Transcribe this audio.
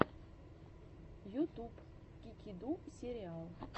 ютуб кикиду сериал